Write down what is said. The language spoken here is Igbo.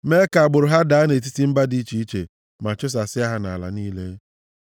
mee ka agbụrụ ha daa nʼetiti mba dị iche iche, ma chụsasịa ha nʼala niile.